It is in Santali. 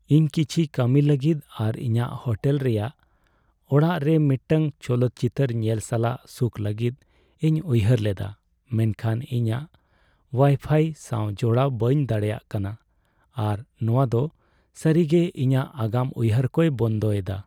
ᱤᱧ ᱠᱤᱪᱷᱤ ᱠᱟᱹᱢᱤ ᱞᱟᱹᱜᱤᱫ ᱟᱨ ᱤᱧᱟᱹᱜ ᱦᱳᱴᱮᱞ ᱨᱮᱭᱟᱜ ᱚᱲᱟᱜ ᱨᱮ ᱢᱤᱫᱴᱟᱝ ᱪᱚᱞᱚᱛ ᱪᱤᱛᱟᱹᱨ ᱧᱮᱞ ᱥᱟᱞᱟᱜ ᱥᱩᱠ ᱞᱟᱹᱜᱤᱫ ᱤᱧ ᱩᱭᱦᱟᱹᱨ ᱞᱮᱫᱟ, ᱢᱮᱱᱠᱷᱟᱱ ᱤᱧ ᱳᱣᱟᱭᱯᱷᱟᱭ ᱥᱟᱶ ᱡᱚᱲᱟᱣ ᱵᱟᱹᱧ ᱫᱟᱲᱮᱹᱭᱟᱜ ᱠᱟᱱᱟ, ᱟᱨ ᱱᱚᱣᱟ ᱫᱚ ᱥᱟᱹᱨᱤᱜᱮ ᱤᱧᱟᱹᱜ ᱟᱜᱟᱢ ᱩᱭᱦᱟᱹᱨ ᱠᱚᱭ ᱵᱚᱱᱫᱚ ᱮᱫᱟ ᱾